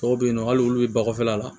Dɔw bɛ yen nɔ hali olu bɛ bɔgɔfin la